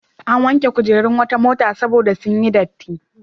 An wanke kujerun wata mota saboda sun yi datti.